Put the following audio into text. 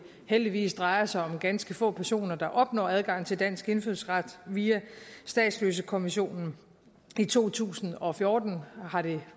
heldigvis drejer sig om ganske få personer der opnår adgang til dansk indfødsret via statsløsekonventionen i to tusind og fjorten var det